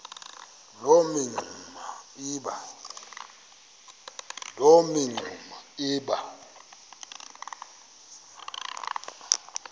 loo mingxuma iba